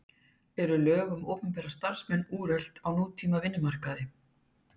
En eru lög um opinbera starfsmenn úrelt á nútíma vinnumarkaði?